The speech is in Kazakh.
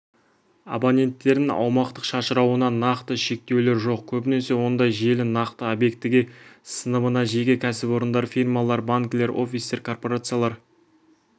абоненттерін аумақтық шашырауына нақты шектеулер жоқ көбінесе ондай желі нақты объектіге сыныбына жеке кәсіпорындар фирмалар банкілер офистер корпорациялар